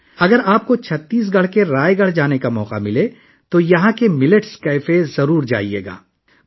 اگر آپ کو چھتیس گڑھ کے رائے گڑھ جانے کا موقع ملے تو آپ کو یہاں ملٹس کیفے ضرور جانا چاہیے